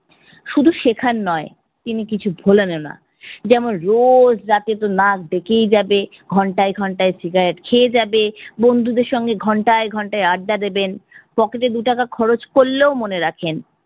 শুধু শেখার নয়, তিনি কিছু বলেনও না। যেমন রোজ রাতেতো নাক ডেকেই যাবে, ঘন্টায় ঘন্টায় cigarette খেয়ে যাবে, বন্ধুদের সঙ্গে ঘন্টায় ঘন্টায় আড্ডা দেবেন। pocket এ দু টাকা খরচ করলেও মনে রাখেন।